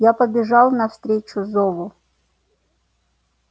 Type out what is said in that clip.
я побежал навстречу зову